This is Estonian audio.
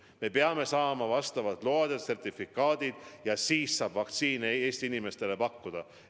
Me peame saama vastavad load ja sertifikaadid, alles siis saab vaktsiini Eesti inimestele pakkuda.